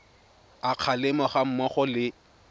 a kgalemo ga mmogo le